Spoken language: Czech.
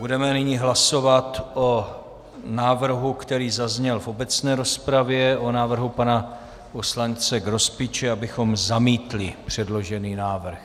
Budeme nyní hlasovat o návrhu, který zazněl v obecné rozpravě, o návrhu pana poslance Grospiče, abychom zamítli předložený návrh.